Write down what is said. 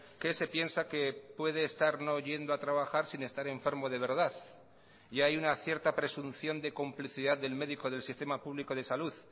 que se piensa que puede estar no yendo a trabajar sin estar enfermo de verdad y hay una cierta presunción de complicidad del médico del sistema público de salud